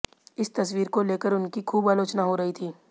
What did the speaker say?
इस तस्वीर को लेकर उनकी ख़ूब आलोचना हो रही थी